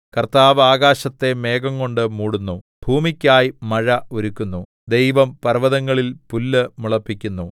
കർത്താവ് ആകാശത്തെ മേഘംകൊണ്ടു മൂടുന്നു ഭൂമിക്കായി മഴ ഒരുക്കുന്നു ദൈവം പർവ്വതങ്ങളിൽ പുല്ല് മുളപ്പിക്കുന്നു